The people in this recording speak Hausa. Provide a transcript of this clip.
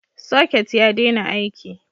Socket ya daina aiki.